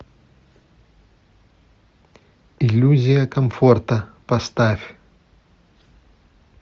иллюзия комфорта поставь